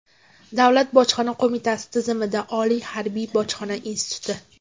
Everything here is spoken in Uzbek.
Davlat bojxona qo‘mitasi tizimida: Oliy harbiy bojxona instituti.